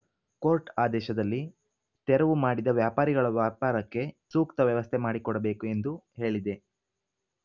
court ಆದೇಶದಲ್ಲಿ ತೆರವು ಮಾಡಿದ ವ್ಯಾಪಾರಿಗಳ ವ್ಯಾಪಾರಕ್ಕೆ ಸೂಕ್ತ ವ್ಯವಸ್ಥೆ ಮಾಡಿಕೊಡಬೇಕು ಎಂದು ಹೇಳಿದೆ